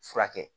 Furakɛ